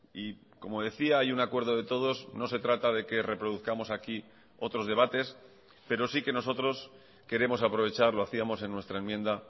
y como decía hay un acuerdo de todos no se trata de que reproduzcamos aquí otros debates pero sí que nosotros queremos aprovechar lo hacíamos en nuestra enmienda